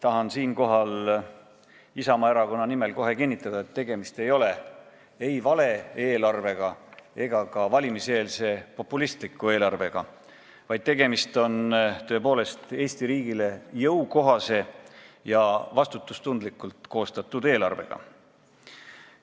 Tahan siinkohal Isamaa erakonna nimel kohe kinnitada, et tegemist pole ei vale eelarvega ega ka valimiseelse populistliku eelarvega, vaid tegemist on tõepoolest Eesti riigile jõukohase ja vastutustundlikult koostatud eelarvega.